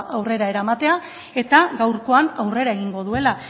aurrera eramatea eta gaurkoan aurrera egingo duela